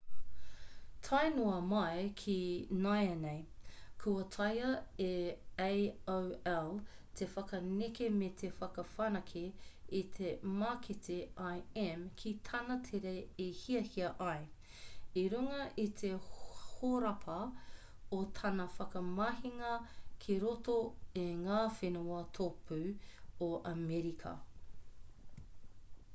tae noa mai ki nāianei kua taea e aol te whakaneke me te whakawhanake i te mākete im ki tāna tere i hiahia ai i runga i te horapa o tana whakamahinga ki roto i ngā whenua tōpū o amerika